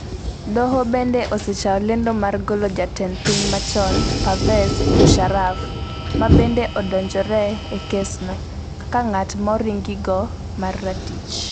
Doho bende osechayo lendo mar golo Jatend Piny machon Pervez Musharraf, mabende odonjore e kesno, kaka ng'at moringiko mar ratich.